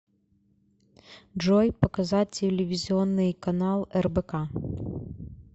джой показать телевизионный канал рбк